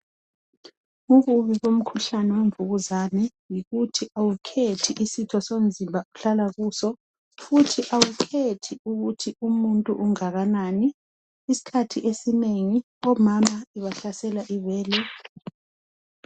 Ububi bomkhuhlane wemvukuzane yikuthi awukhethi isitho somzimba ohlala kuso futhi awukhethi ukuthi umuntu ungakanani isikhathi esinengi omama ibahlasela ibele.